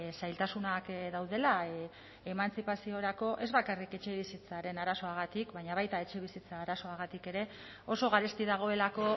zailtasunak daudela emantzipaziorako ez bakarrik etxebizitzaren arazoagatik baina baita etxebizitza arazoagatik ere oso garesti dagoelako